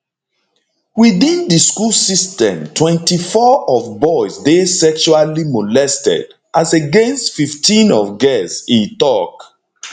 within di school system 24 of boys dey sexually molested as against 15 of girls e tok